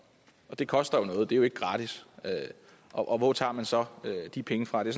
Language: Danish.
det koster noget det er jo ikke gratis og hvor tager man så de penge fra det